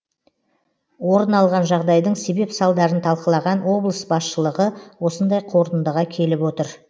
орын алған жағдайдың себеп салдарын талқылаған облыс басшылығы осындай қорытындыға келіп отыр